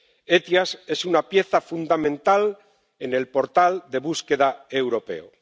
El SEIAV es una pieza fundamental en el portal de búsqueda europeo.